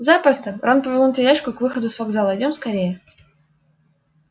запросто рон повернул тележку к выходу с вокзала идём скорее